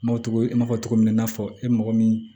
N m'o cogo n b'a fɔ cogo min na i n'a fɔ e mɔgɔ min